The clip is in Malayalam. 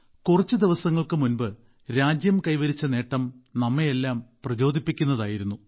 കുറച്ച് ദിവസങ്ങൾക്ക് മുമ്പ് രാജ്യം കൈവരിച്ച നേട്ടം നമ്മെയെല്ലാം പ്രചോദിപ്പിക്കുന്നതായിരുന്നു